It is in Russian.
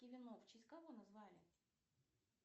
в честь кого назвали